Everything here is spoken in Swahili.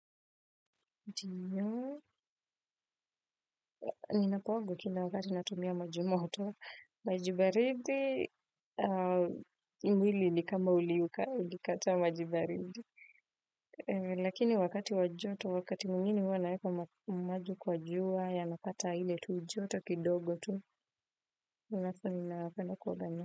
Ninakuanga tu na wakati natumia maji moto, maji baridi mwili ni kama ulikataa maji baridi. Lakini wakati wa joto wakati mwingine hua naweka maji kwa jua yanapata ile tu joto kidogo tu alafu ninapenda kuoga na.